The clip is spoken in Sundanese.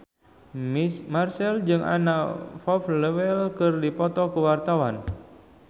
Marchell jeung Anna Popplewell keur dipoto ku wartawan